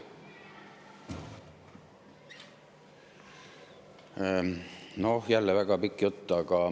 Noh, jälle väga pikk jutt.